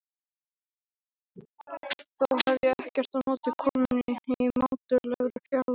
Þó hef ég ekkert á móti konunni í mátulegri fjarlægð.